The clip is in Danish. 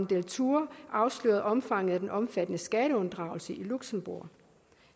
deltour afslørede omfanget af den omfattende skatteunddragelse i luxembourg